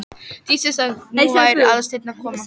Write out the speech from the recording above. Dísu sagt að nú væri Aðalsteinn að koma.